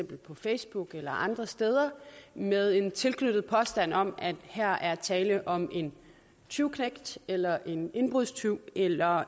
på facebook eller andre steder med en tilknyttet påstand om at her er tale om en tyveknægt eller en indbrudstyv eller